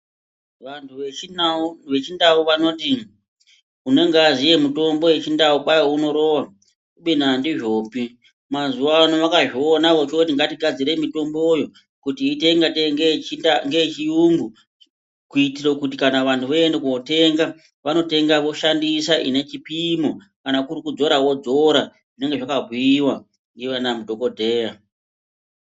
Vantu vechindau vanoti, unenge aziye mitombo yechindau kwai unorowa kubeni andizvopi, mazuwano vakazviona vachoti ngatigadzire mitomboyo kuti iite ngatei ngeyechiyungu kuitire kuti vantu kana voende kotenga vanotenga voshandisa inechipimo kana kuri kudzora vodzora zvinenge zvakabhuiwa ndiana mudhokodheya.